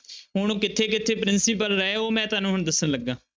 ਹੁਣ ਕਿੱਥੇ ਕਿੱਥੇ ਪ੍ਰਿੰਸੀਪਲ ਰਹੇ ਉਹ ਮੈਂ ਤੁਹਾਨੂੰ ਹੁਣ ਦੱਸਣ ਲੱਗਾ।